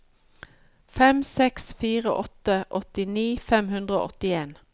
fem seks fire åtte åttini fem hundre og åttien